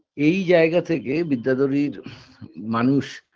এই জায়গা থেকে বিদ্যাধরীর মানুষ